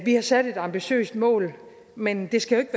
har sat et ambitiøst mål men det skal